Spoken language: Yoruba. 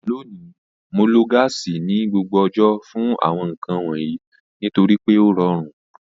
Lónìí, Mo lo gáàsì ní gbogbo ọjọ́ fún àwọn nǹkan wọ̀nyí nítorí pé ó rọrùn